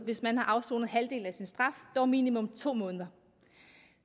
hvis man har afsonet halvdelen af sin straf dog minimum to måneder